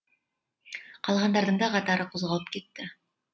қалғандардың да қатары қозғалып кетті